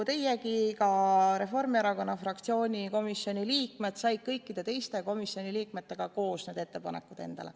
Nii nagu teiegi, said ka Reformierakonna fraktsiooni liikmed koos kõikide teiste komisjoni liikmetega need ettepanekud.